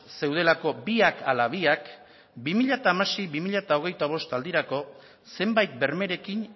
zeudelako biak ala biak bi mila hamasei bi mila hogeita bost aldirako zenbait bermerekin